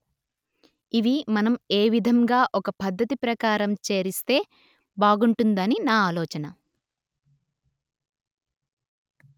ఇవి మనం ఏ విధంగా ఒక పద్ధతి ప్రకారం చేరిస్తే బాగుంటుందని నా ఆలోచన